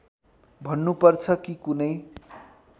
भन्नुपर्छ कि कुनै